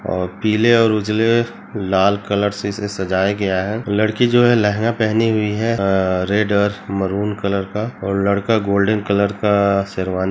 और पिले और उजले लाल कलर से इसे सजाया गया है लड़की जो है लेहंगा पहनी हुई है रेड और मैरून कलर का और लड़का गोल्डन कलर का शेरवानी --